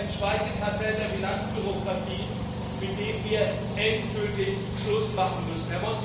Aber es ist auch ein Schweigekartell der Finanzbürokratien, mit dem wir endgültig Schluss machen müssen.